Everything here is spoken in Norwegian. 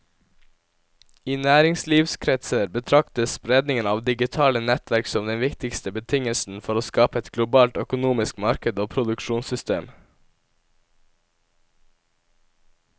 I næringslivskretser betraktes spredningen av digitale nettverk som den viktigste betingelsen for å skape et globalt økonomisk marked og produksjonssystem.